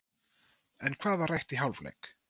En hvað var rætt í hálfleik?